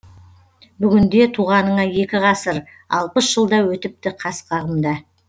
бүгінде туғаныңа екі ғасыр алпыс жыл да өтіпті қас қағымда